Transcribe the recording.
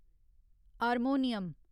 harmonium